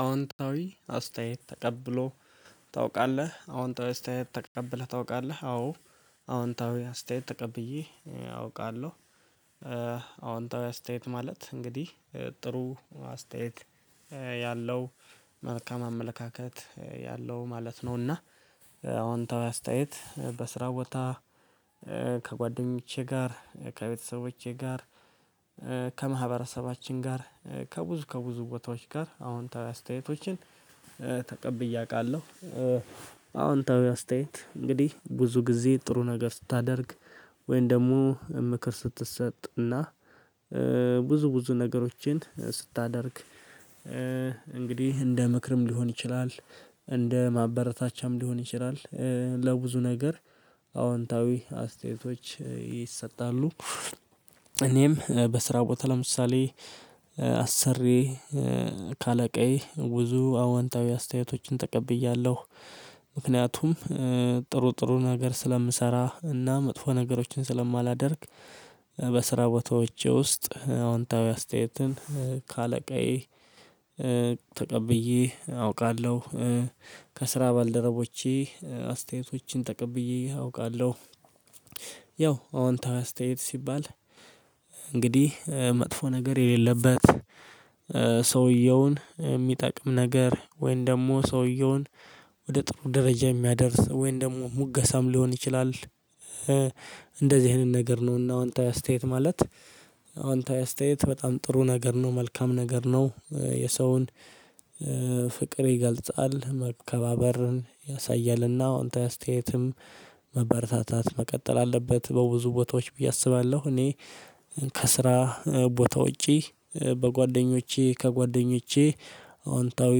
አዎንታዊ አስተያየት ተቀብሎ ታውቃለህ አዎንታዊ አስተያየት ተቀብለህ ታውቃለህ አዎ አዎንታዊ አስተያየት ተቀብዬ አውቃለሁ። አዎንታዊ አስተያየት ማለት እንግዲህ ጥሩ አስተያየት ያለው መልካም አመለካከት ያለው ማለት ነው። እና አዎንታዊ አስተያየት በስራ ቦታ ከጓደኞቼ ጋር ከቤተሰቦቼ ጋር ከማህበረሰባችን ጋር ከብዙ ከብዙ ቦታዎች ጋር አዎንታዊ አስተያየቶችን ተቀብዬ አውቃለሁ። አዎንታዊ አስተያየት እንግዲህ ብዙ ጊዜ ጥሩ ነገር ስታደርግ ወይም ደግሞ ምክር ስትሰጥ እና ብዙ ብዙ ነገሮችን ስታደርግ እንግዲህ እንደ ምክርም ሊሆን ይችላል እንደ ማበረታቻም ሊሆን ይችላል ለብዙ ነገር አዎንታዊ አስተያየቶች ይሰጣሉ። እኔም በስራ ቦታ ለምሳሌ አሰሪዬ ካለቃዬ ብዙ አዋንታዊ አስተያየቶችን ተቀብያለሁ ምክንያቱም ጥሩ ጥሩ ነገር ስለምሰራ እና መጥፎ ነገሮችን ስለማላደርግ በስራ ቦታዎቼ ውስጥ አዎንታዊ አስተያየትን ከአለቃዬ ተቀብዬ አውቃለሁ። ከስራ ባልደረቦቼ አስተያየቶችን ተቀብዬ አውቃለሁ። ያው አዎንታዊ አስተያየት ሲባል እንግዲህ መጥፎ ነገር የሌለበት ሰውየውን የሚጠቅም ነገር ወይንም ደግሞ ሰውየውን ወደ ጥሩ ደረጃ የሚያደርስ ወይንም ደግሞ ሙገሳም ሊሆን ይችላል። እንደዚህ አይነት ነገር ነው እና አዎንታዊ አስተያየት ማለት አዎንታዊ አስተያየት በጣም ጥሩ ነገር ነው መልካም ነገር ነው። የሰውን ፍቅር ይገልጻል መከባበርን ያሳያል እና አወንታዊ አስተያየትም መበረታታት መቀጠል አለበት በብዙ ቦታዎች ብዬ አስባለሁ። እኔ ከስራ ቦታ ውጪ በጓደኞቼ ከጓደኞቼ አዎንታዊ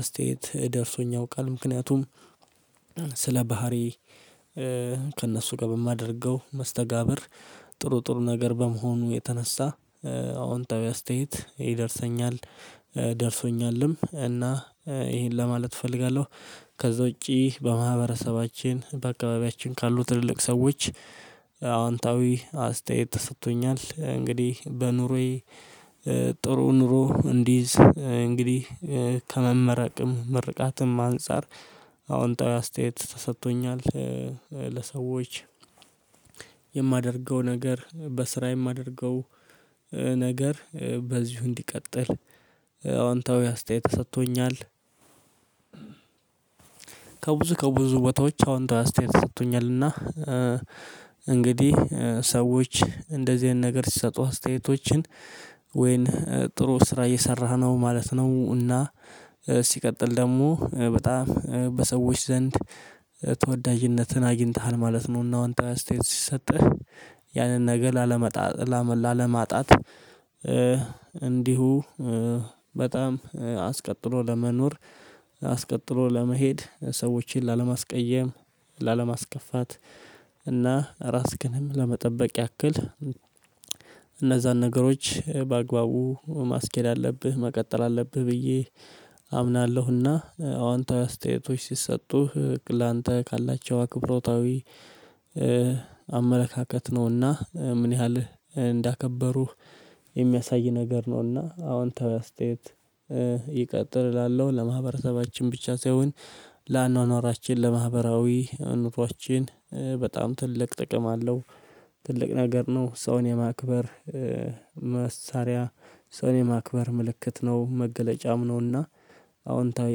አስተያየት ደርሶኝ ያውቃል ምክንያቱም ስለ ባህሪ ከእነሱ ጋር በማደርገው መስተጋብር ጥሩ ጥሩ ነገር በመሆኑ የተነሳ አወንታዊ አስተያየት ይደርሰኛል ደርሶኛልም እና ይሄን ለማለት እፈልጋለሁ ከዛ ውጪ በማህበረሰባችን በአካባቢያችን ካሉ ትልልቅ ሰዎች አወንታዊ አስተያየት ተሰጥቶኛል እንግዲህ በኑሮዬ ጥሩ ኑሮ እንድይዝ እንግዲህ ከመመረቅም ምርቃትም አንፃር አዎንታዊ አስተያየት ተሰጥቶኛል። ለሰዎች የማደርገው ነገር በስራ የማደርገው ነገር በዚሁ እንዲቀጥል አዋንታዊ አስተያየት ተሰጥቶኛል። ከብዙ ከብዙ ቦታዎች አዎንታዊ አስተያየት ተሰጥቶኛል እና እንግዲህ ሰዎች እንደዚህ አይነት ነገር ሲሰጡህ አስተያየቶችን ወይን ጥሩ ስራ እየሰራህ ነው ማለት ነው እና ሲቀጥል ደግሞ በጣም በሰዎች ዘንድ ተወዳጅነትን አግኝተሃል ማለት ነው። እና አወንታዊ አስተያየት ሲሰጥህ ያንን ነገር ላለመጣጥ ላለማጣት እንዲሁ በጣም አስቀጥሎ ለመኖር አስቀጥሎ ለመሄድ ሰዎችን ላለማስቀየም ላለማስከፋት እና ራስክንም ለመጠበቅ ያክል እነዛን ነገሮች በአግባቡ ማስኬድ አለብህ መቀጠል አለብህ ብዬ አምናለሁ። እና አዋንታዊ አስተያየቶች ሲሰጡህ ላንተ ካላቸው አክብሮታዊ አመለካከት ነው እና ምን ያህል እንዳከበሩህ የሚያሳይ ነገር ነው። እና አወንታዊ አስተያየት ይቀጥል እላለሁ ለማህበረሰባችን ብቻ ሳይሆን ለአኗኗራችን ለማህበራዊ ኑሯችን በጣም ትልቅ ጥቅም አለው ትልቅ ነገር ነው ሰውን የማክበር መሳሪያ ሰውን የማክበር ምልክት ነው መገለጫም ነው። እና አዎንታዊ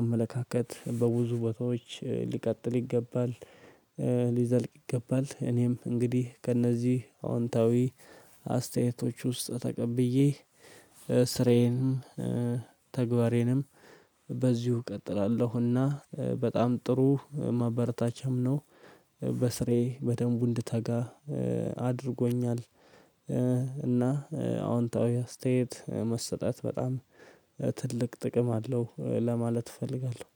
አመለካከት በብዙ ቦታዎች ሊቀጥል ይገባል ሊዘልቅ ይገባል። እኔም እንግዲህ ከእነዚህ አዎንታዊ አስተያየቶች ውስጥ ተቀብዬ ስራዬንም ተግባሬንም በዚሁ እቀጥላለሁ። እና በጣም ጥሩ ማበረታቻም ነው በስራዬ በደንቡ እንድታጋ አድርጎኛል። እና አዎንታዊ አስተያየት መሰጠት በጣም ትልቅ ጥቅም አለው ለማለት እፈልጋለሁ